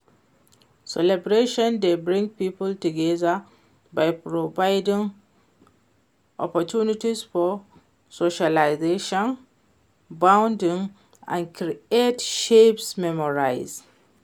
Celebration dey bring people together by providing opportunity for socializing, bonding and create shared memories.